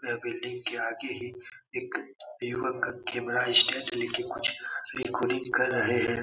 यह बिल्डिंग के आगे एक एक युवक का कैमरा स्टैंड ले के कुछ रिकॉर्डिंग कर रहे हैं।